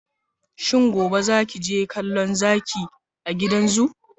Shin gobe zaki je kallo Zaki a gidan zoo?